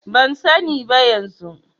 Ban sani ba yanzu.